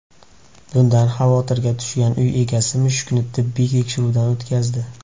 Bundan xavotirga tushgan uy egasi mushukni tibbiy tekshiruvdan o‘tkazdi.